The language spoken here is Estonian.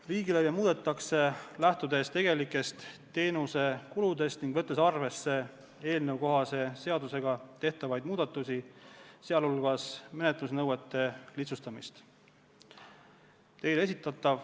Riigilõive muudetakse, lähtudes tegelikest teenusekuludest ning võttes arvesse seaduses tehtavaid muudatusi, sh menetlusnõuete lihtsustamist.